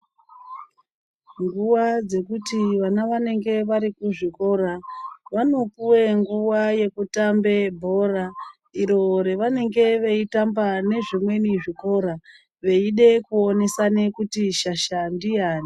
Nguva dzekuti vana vanenge vari kuzvikora vanopuwe nguva yekutambe bhora. Iro ravanenge veitamba nezvimweni zvikora, veide kuonesane kuti shasha ndiyani.